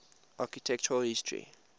architectural history